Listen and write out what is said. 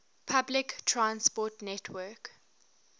public transport network